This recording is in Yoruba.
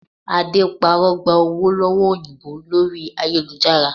Ade parọ́ gba owó lọ́wọ́ òyìnbó lórí ayélujára